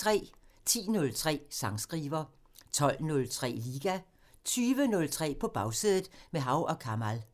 10:03: Sangskriver 12:03: Liga 20:03: På Bagsædet – med Hav & Kamal